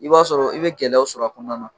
I b'a sɔrɔ i bɛ gɛlɛyaw sɔr'a kɔɔna na.